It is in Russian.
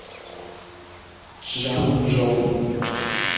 чжанчжоу